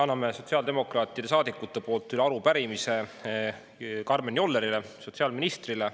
Annan sotsiaaldemokraatidest saadikute poolt üle arupärimise Karmen Jollerile, sotsiaalministrile.